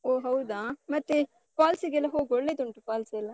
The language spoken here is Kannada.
ಓಹ್ ಹೌದಾ? ಮತ್ತೆ falls ಗೆಲ್ಲ ಹೋಗು, ಒಳ್ಳೆದುಂಟು falls ಎಲ್ಲ.